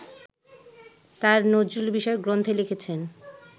তাঁর নজরুলবিষয়ক গ্রন্থে লিখেছেন